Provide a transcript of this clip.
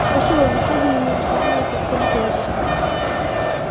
спасибо в итоге меня разбудили как только я заснул